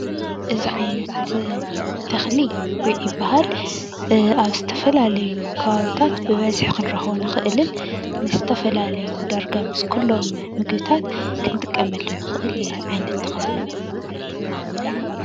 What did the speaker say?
እዚ ዓይነት ተኽሊ ጉዕ ይባሃል፡፡ ኣብ ዝተፈላለዩ ከባቢታት ብበዝሒ ክንረክቦ እንክእልን ምስ ዝተፈላለዩ ዳርጋ ምስ ኩሎም ምግብታት ክንጥቀመሉ እንክእል ዓይነት ተኽሊ እዩ፡፡